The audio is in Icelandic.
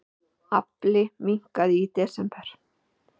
Afli minnkaði í desember